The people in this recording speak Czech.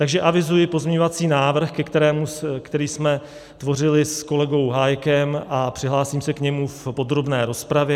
Takže avizuji pozměňovací návrh, který jsme tvořili s kolegou Hájkem, a přihlásím se k němu v podrobné rozpravě.